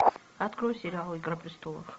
открой сериал игра престолов